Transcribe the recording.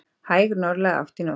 Hæg norðlæg átt í nótt